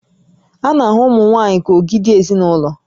A na-ahụ ụmụ nwaanyị ka ogidi ezinaụlọ